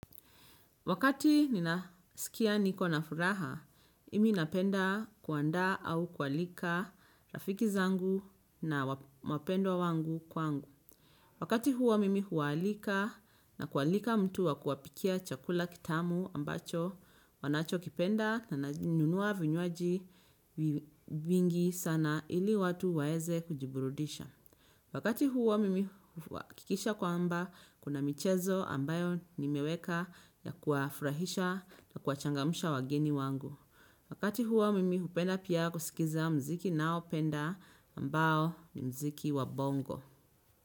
Wakati nina sikia niko na furaha, mimi napenda kuandaa au kualika rafiki zangu na wapendwa wangu kwangu. Wakati huo mimi huwaalika na kualika mtu wa kuwapikia chakula kitamu ambacho wanachokipenda na nanunua vinywaji vingi sana ili watu waeze kujiburudisha. Wakati huo mimi huakikisha kwamba kuna michezo ambayo nimeweka ya kuwafurahisha na kuwachangamsha wageni wangu. Wakati huo mimi hupenda pia kusikiza mziki ninaopenda ambao ni mziki wa bongo.